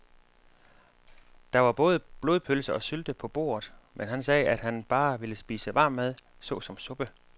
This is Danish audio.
Der var både blodpølse og sylte på bordet, men han sagde, at han bare ville spise varm mad såsom suppe.